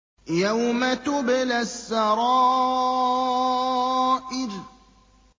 يَوْمَ تُبْلَى السَّرَائِرُ